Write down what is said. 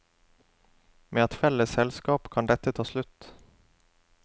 Med et felles selskap kan dette ta slutt.